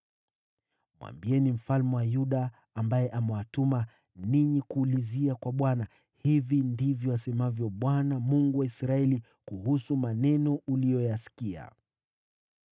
Mwambieni mfalme wa Yuda, ambaye amewatuma kumuuliza Bwana , ‘Hivi ndivyo asemavyo Bwana , Mungu wa Israeli, kuhusu maneno uliyoyasikia: